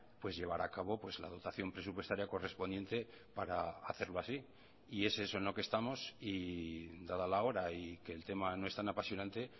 pues llevar a cabo pues la dotación presupuestaria correspondiente para hacerlo así y es eso en lo que estamos y dada la hora y que el tema no es tan apasionante